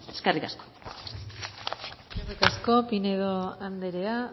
eskerrik asko eskerrik asko pinedo andrea